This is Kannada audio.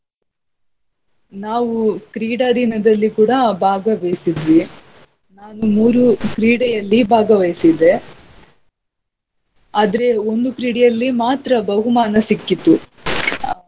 ನಾವು ಕ್ರೀಡಾ ದಿನದಲ್ಲಿ ಕೂಡಾ ಭಾಗವಹಿಸಿದ್ವಿ. ನಾನು ಮೂರು ಕ್ರೀಡೆಯಲ್ಲಿ ಭಾಗವಹಿಸಿದ್ದೆ. ಆದ್ರೆ ಒಂದು ಕ್ರೀಡೆಯಲ್ಲಿ ಮಾತ್ರ ಬಹುಮಾನ ಸಿಕ್ಕಿತು.